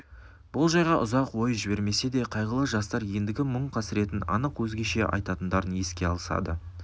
бұл жайға ұзақ ой жібермесе де қайғылы жастар ендігі мұң қасіреттерін анық өзгеше айтатындарын еске алысады